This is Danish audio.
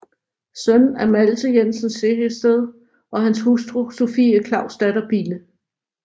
Søn af Malte Jensen Sehested og hans hustru Sophie Clausdatter Bille